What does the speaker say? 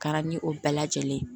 Kɛra ni o bɛɛ lajɛlen ye